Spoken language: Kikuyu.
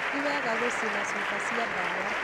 Ti wega gũcina cuba cia ndawa.